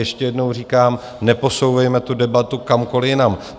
Ještě jednou říkám, neposouvejme tu debatu kamkoli jinam.